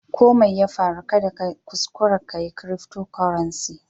Ko Mai ya farru, kada ka kuskure ka yi cryftocurrency.